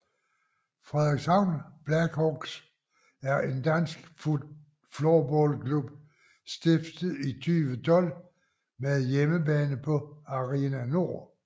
Frederikshavn Blackhawks er en dansk floorballklub stiftet i 2012 med hjemmebane på Arena Nord